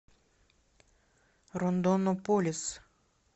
рондонополис